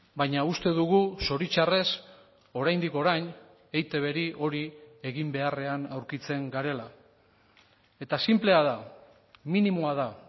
baina uste dugu zoritxarrez oraindik orain eitbri hori egin beharrean aurkitzen garela eta sinplea da minimoa da